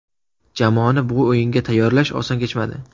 Jamoani bu o‘yinga tayyorlash oson kechmadi.